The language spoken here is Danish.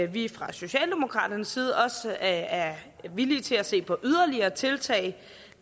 vi fra socialdemokraternes side også er villige til at se på yderligere tiltag